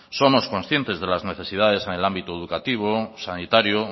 somos conscientes de las necesidades en el ámbito educativo sanitario